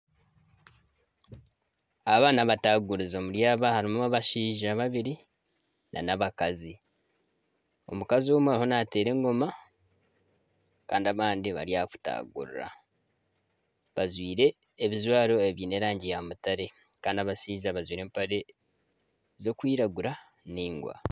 Aba ni abatagurizi. Omuri aba, harimu abashaija babiri nana abakazi. Omukazi omwe ariho nateera engoma kandi abandi bari aha kutagurura. Bajwaire ebijwaro ebyiine erangi ya mutare kandi abashaija bajwaire empare zirikwiragura ningwa.